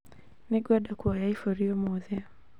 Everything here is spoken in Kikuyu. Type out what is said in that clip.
Nĩngwenda kuoya iburi ũmũthĩ